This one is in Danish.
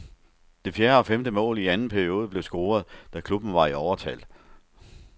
Det fjerde og femte mål i anden periode blev scoret, da klubben var i overtal.